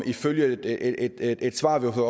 ifølge et svar vi har